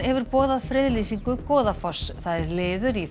hefur boðað friðlýsingu Goðafoss það er liður í